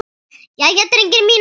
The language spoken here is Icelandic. Jæja, drengir mínir!